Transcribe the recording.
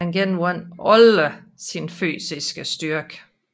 Han genvandt aldrig sin fysiske styrke